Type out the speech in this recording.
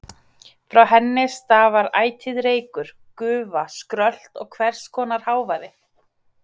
Frá henni stafar ætíð reykur, gufa, skrölt og hvers konar hávaði.